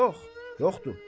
Yox, yoxdur.